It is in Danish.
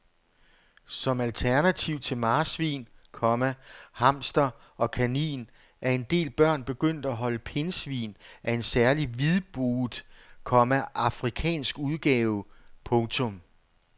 Som alternativ til marsvin, komma hamster og kanin er en del børn begyndt at holde pindsvin af en særlig hvidbuget, komma afrikansk udgave. punktum